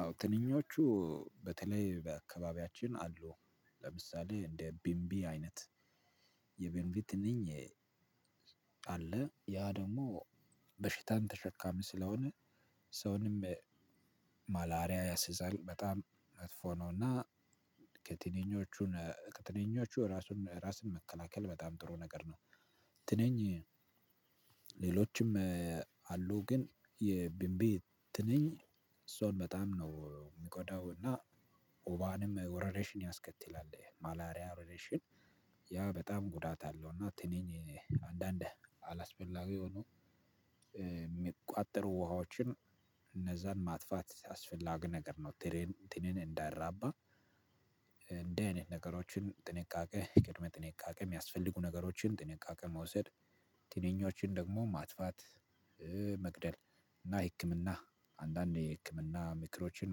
አዎ ትንኞቹ በተለይ በአካባቢያችን አሉ ለምሳሌ እንደ ቢምቢ አይነት የቢምቢ ትንኝ አለ ያ ደግሞ በሽታን ተሸካሚ ስለሆነ ሰውንም ማላሪያ ያስይዛል በጣም መጥፎ ነውና ከትንኞቹ ከትንኞቹ ራሱን ራስን መከላከል በጣም ጥሩ ነገር ነው። ትንኝ ሌሎችም አሉ ግን የቢንቢ ትንኝ ሰውን በጣም ነው የሚጎዳው እና ወባንም ወረርሺኝ ያስከትላል ማላሪያ ወረርሺኝ ያ በጣም ጉዳት አለው። እና ትንኝ አንዳንድ አላስፈላጊ የሆኑ የሚቋጠሩ ውሃዎችን እነዛን ማጥፋት አስፈላጊ ነገር ነው። ትንኝ እንዳይራባ እንደዚህ አይነት ነገሮችን ጥንቃቄ ቅድመ ጥንቃቄ የሚያስፈልጉ ነገሮችን ጥንቃቄ መውሰድ ትንኞችን ደግሞ ማጥፋት መግደል እና ህክምና አንዳንድ የህክምና ምክሮችን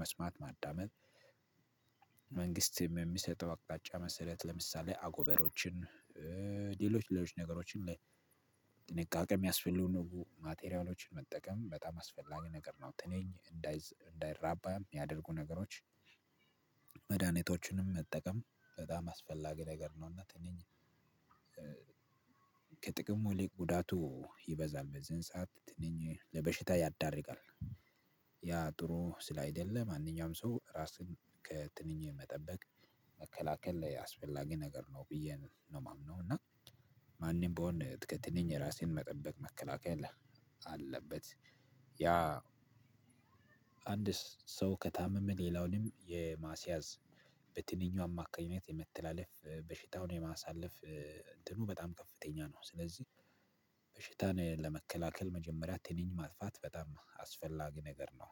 መስማት ማዳመጥ መንግስትም በሚሰጠው አቅጣጫ መሰረት ለምሳሌ አጎበሮችን ሌሎች ሌሎች ነገሮችን ላይ ጥንቃቄ የሚያስፈልጉ ማቴሪያሎችን መጠቀም በጣም አስፈላጊ ነገር ነው። ትንኝ እንዳይራባ የሚያደርጉ ነገሮች መድሃኒቶችንም መጠቀም በጣም አስፈላጊ ነገር ነውና። ትንኝ ከጥቅሙ ይልቅ ጉዳቱ ይበዛል በዚህን ሰዓት ትንኝ ለበሽታ ይዳርጋል። ያ ጥሩ ስላይደለ ማንኛውም ሰው ራስን ከትንኝ መጠበቅ መከላከል አስፈላጊ ነገር ነው ብዬ ነው የማምነው። እና ማንም ቢሆን ከትንኝ ራስን መጠበቅ መከላከል አለበት። ያ አንድ ሰው ከታመመ ሌላውንም የማስያዝ በትንኝ አማካኝነት የመተላለፍ በሽታውን የማሳለፍ እንትኑ በጣም ከፍተኛ ነው። ስለዚህ በሽታና ለመከላከል መጀመሪያ ትንኝ ማጥፋት በጣም አስፈላጊ ነገር ነው።